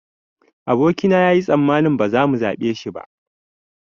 Aboki na yayi tsammanin ba za mu zaɓe shi ba